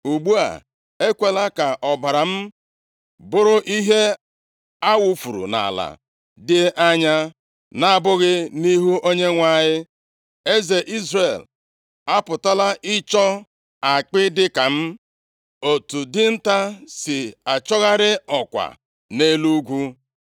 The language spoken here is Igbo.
Ugbu a, ekwela ka ọbara m bụrụ ihe a wufuru nʼala dị anya, na-abụghị nʼihu Onyenwe anyị. Eze Izrel apụtala ịchọ akpị dịka m, otu dinta si achọgharị ọkwa nʼelu ugwu.”